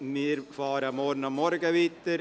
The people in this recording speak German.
Wir fahren morgen Vormittag weiter.